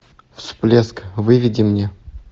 всплеск выведи мне